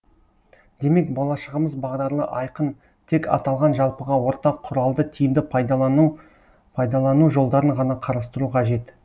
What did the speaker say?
демек болашағымыз бағдарлы айқын тек аталған жалпыға ортақ құралды тиімді пайдалану жолдарын ғана қарастыру қажет